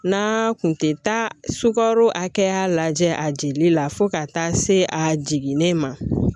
N'a kun tɛ taa sukaro hakɛya lajɛ a jeli la fo ka taa se a jiginnen ma